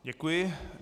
Děkuji.